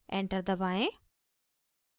enter दबाएं